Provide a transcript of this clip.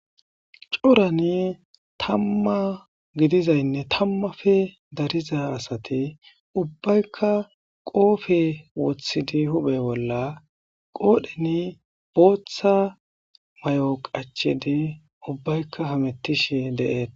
corani tamma gidizaynne tammafe dariza asati ubbaykka qoofe wothidi hubhe bolla qoodheni booththa may7o qachidi ubbaykka hamettish deeeta